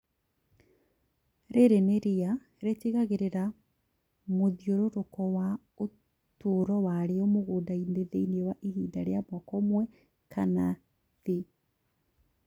Rĩrĩ nĩ ria rĩa ritigagĩrĩra mũthiũrũrũko wa ũtũro warĩo mũgunda-inĩ thĩinĩ wa ihinda rĩa mwaka ũmwe kana thĩ